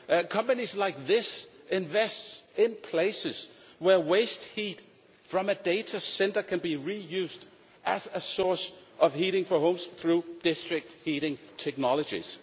Companies like this invest in places where waste heat from a data centre can be reused as a source of heating for homes through district heating technologies.